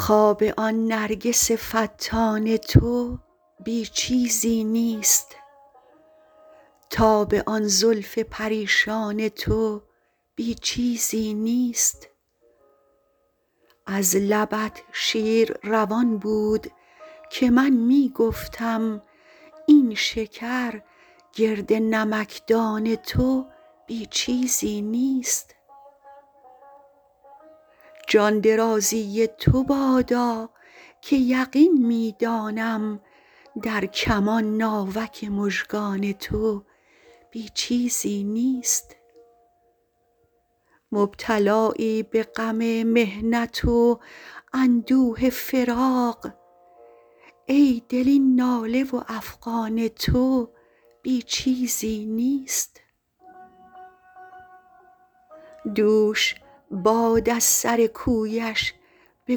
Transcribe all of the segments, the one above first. خواب آن نرگس فتان تو بی چیزی نیست تاب آن زلف پریشان تو بی چیزی نیست از لبت شیر روان بود که من می گفتم این شکر گرد نمکدان تو بی چیزی نیست جان درازی تو بادا که یقین می دانم در کمان ناوک مژگان تو بی چیزی نیست مبتلایی به غم محنت و اندوه فراق ای دل این ناله و افغان تو بی چیزی نیست دوش باد از سر کویش به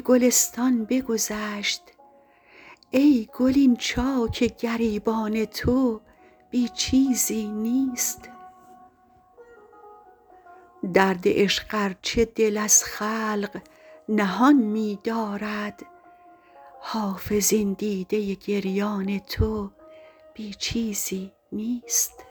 گلستان بگذشت ای گل این چاک گریبان تو بی چیزی نیست درد عشق ار چه دل از خلق نهان می دارد حافظ این دیده گریان تو بی چیزی نیست